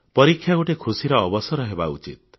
ପରୀକ୍ଷା ଗୋଟିଏ ଖୁସିର ଅବସର ହେବା ଉଚିତ